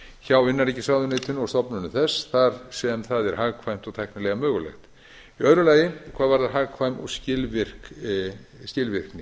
hjá innanríkisráðuneytinu og stofnunum þar sem það er hagkvæmt og tæknilega mögulegt annað hvað varðar hagkvæmni og skilvirkni